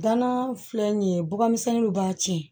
Gana filɛ nin ye bɔgɔmisɛnninw b'a tiɲɛ